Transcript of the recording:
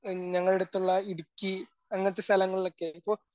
ഞങ്ങളുടുത്തുള്ള ഇടുക്കി അങ്ങനത്തെ സ്ഥലങ്ങളൊക്കെയായിരിക്കും